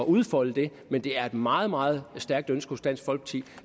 udfolde det men det er et meget meget stærkt ønske hos dansk folkeparti